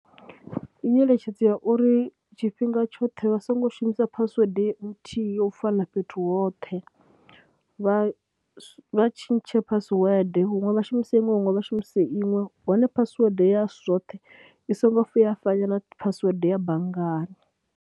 Ndi nyeletshedzo ya uri tshifhinga tshoṱhe vha songo shumisa phasiwede nthihi yo u fana na fhethu hoṱhe vha tshintshe password, huṅwe vha shumise iṅwe, huṅwe vha shumise iṅwe. Hone phasiwede ya zwoṱhe i songo vhuya ya fana na phasiwede ya banngani.